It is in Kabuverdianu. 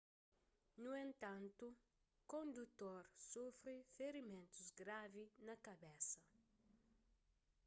nu entantu kondutor sufri ferimentus gravi na kabesa